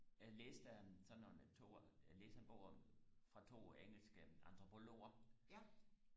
jeg læste en sådan nogle to jeg læste en bog om fra to engelske antropologer